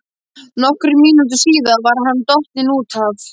Nokkrum mínútum síðar var hann dottinn út af.